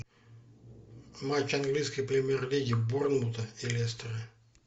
матч английской премьер лиги борнмута и лестера